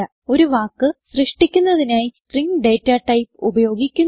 ഒരു വാക്ക് സൃഷ്ടിക്കുന്നതിനായി സ്ട്രിംഗ് ഡേറ്റ ടൈപ്പ് ഉപയോഗിക്കുന്നു